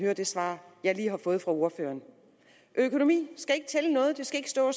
hører det svar jeg lige har fået fra ordføreren økonomi skal ikke tælle noget der skal ikke stå